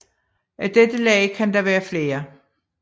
Af dette lag kan der være flere